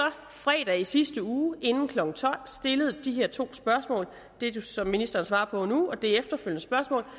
fredag i sidste uge inden klokken tolv stillede de her to spørgsmål det som ministeren svarer på nu og det efterfølgende spørgsmål